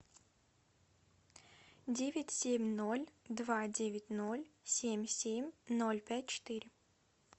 девять семь ноль два девять ноль семь семь ноль пять четыре